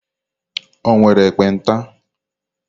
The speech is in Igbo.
O nwere ekpenta?